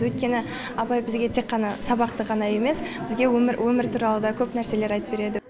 өйткені апай бізге тек қана сабақты ғана емес бізге өмір туралы да көп нәрселер айтып береді